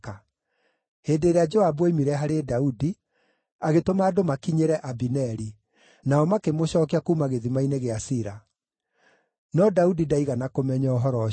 Hĩndĩ ĩrĩa Joabu oimire harĩ Daudi, agĩtũma andũ makinyĩre Abineri, nao makĩmũcookia kuuma gĩthima-inĩ gĩa Sira. No Daudi ndaigana kũmenya ũhoro ũcio.